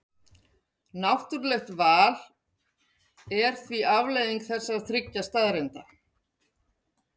Náttúrlegt val er því afleiðing þessara þriggja staðreynda.